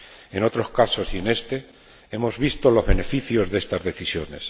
En otros casos y en este hemos visto los beneficios de estas decisiones.